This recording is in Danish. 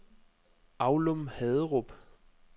Aulum-Haderup